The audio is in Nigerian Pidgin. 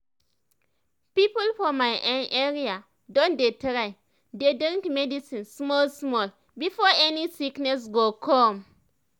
people for my[um]area don dey try dey drink medicine small small before any sickness go come